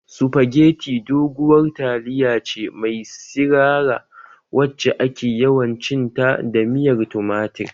Supageti doguwar taliya ce mai sirara wacce ake yawan cin ta da miyar tumatir